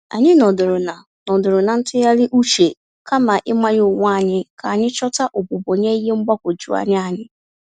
Anyị nọdụrụ na nọdụrụ na ntụgharị uche, kama ịmanye onwé anyị, k'anyi chọta ogbugbo nye ihe mgbagwoju anya anyị.